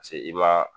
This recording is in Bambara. Paseke i ma